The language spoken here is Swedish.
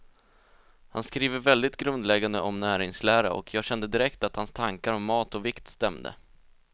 Han skriver väldigt grundläggande om näringslära, och jag kände direkt att hans tankar om mat och vikt stämde.